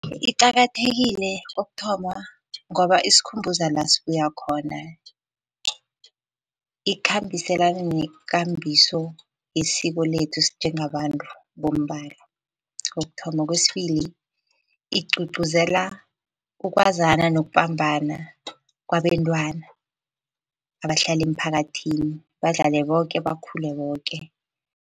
Iqakathekile kokuthoma, ngoba isikhumbuza la sibuya khona. Ikhambiselana nekambiso yesiko lethu sinjengabantu bombala kokuthoma. Kwesibili, igcugcuzela ukwazana nokubambana kwabentwana abahlala emphakathini, badlale boke, bakhule boke.